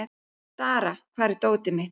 Dara, hvar er dótið mitt?